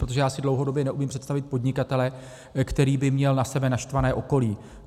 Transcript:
Protože já si dlouhodobě neumím představit podnikatele, který by měl na sebe naštvané okolí.